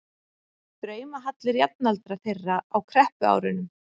draumahallir jafnaldra þeirra á kreppuárunum.